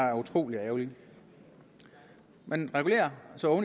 er utrolig ærgerligt man regulerer så